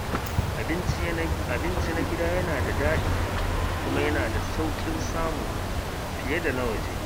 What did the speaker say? Abinci na gida yana daɗi kuma yana da sauƙin samu fiye da na waje.